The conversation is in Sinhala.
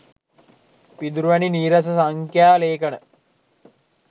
පිදුරු වැනි නීරස සංඛ්‍යා ලේඛන